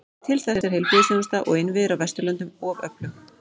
Til þess er heilbrigðisþjónusta og innviðir á Vesturlöndum of öflug.